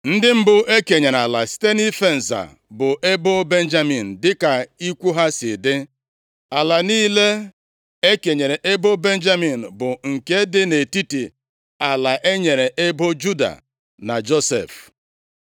Ndị mbụ e kenyere ala site nʼife nza bụ ebo Benjamin dịka ikwu ha si dị. Ala niile e kenyere ebo Benjamin bụ nke dị nʼetiti ala e nyere ebo Juda na Josef.